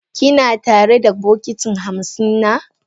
Ki na tare da bokiti hamsin na?